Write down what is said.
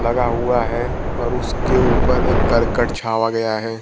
लगा हुआ है और उसके ऊपर एक करकट छावा गया है।